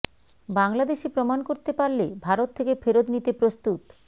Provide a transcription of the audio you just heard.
বাংলাদেশি প্রমাণ করতে পারলে ভারত থেকে ফেরত নিতে প্রস্তুত